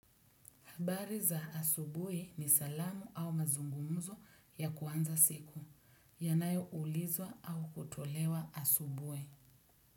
Habari za asubuhi ni salamu au mazungumzo ya kuanza siku, yanayoulizwa au kutolewa asubuhi.